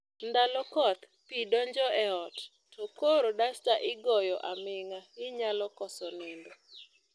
Ndalo koth, pii donjo e ot, to koro dasta igoyo aming'a ; inyalo koso nindo